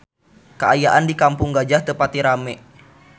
Kaayaan di Kampung Gajah teu pati rame